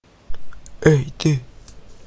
эй ты